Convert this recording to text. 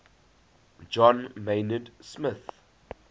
john maynard smith